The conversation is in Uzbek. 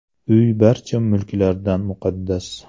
Uy barcha mulklardan muqaddas.